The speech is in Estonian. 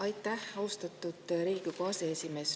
Aitäh, austatud Riigikogu aseesimees!